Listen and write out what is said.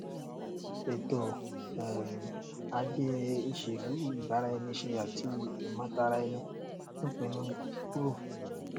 ẹtọ um ajé ìṣèlú ìbáraẹniṣe àti ìmòtara ẹni ń pinnu kíkúrò